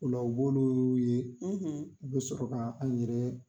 O la o b'ulu ye u bɛ sɔrɔ ka an yɛrɛ